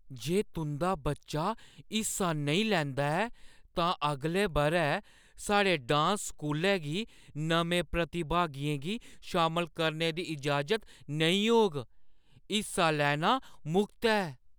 जे तुंʼदा बच्चा हिस्सा नेईं लैंदा ऐ, तां अगले बʼरै साढ़े डांस स्कूलै गी नमें प्रतिभागियें गी शामल करने दी इजाजत नेईं होग। हिस्सा लेना मुख्त ऐ।